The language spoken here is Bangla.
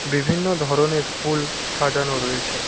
বিভিন্ন ধরনের ফুল সাজানো রয়েছে।